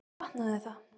Svo brotnaði það.